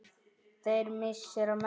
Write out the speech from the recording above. Þeirra missir er mestur.